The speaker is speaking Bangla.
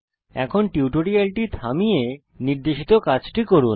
এই টিউটোরিয়ালটি থামান এবং নির্দেশিত কাজটি করুন